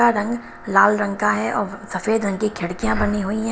का रंग लाल रंग का है और सफेद रंग की खिड़कियां बनी हुई है।